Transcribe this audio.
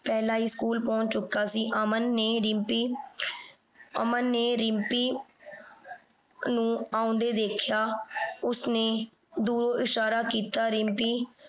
ਪਹਿਲਾਂ ਹੀ ਸਕੂਲ ਪਹੁੰਚ ਚੁੱਕਾ ਸੀ। ਅਮਨ ਨੇ ਰਿੰਪੀ ਅਮਨ ਨੇ ਰਿੰਪੀ ਨੂੰ ਆਉਂਦੇ ਦੇਖਿਆ। ਉਸਨੇ ਦੂਰੋਂ ਇਸ਼ਾਰਾ ਕੀਤਾ ਰਿੰਪੀ